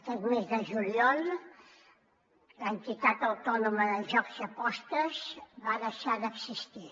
aquest mes de juliol l’entitat autònoma de jocs i apostes va deixar d’existir